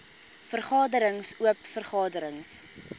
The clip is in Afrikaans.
vergaderings oop vergaderings